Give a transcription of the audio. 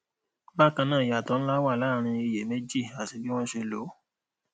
bákanáà iyatọ nlá wà láàrin iye meji àti bí wọn ṣe lòó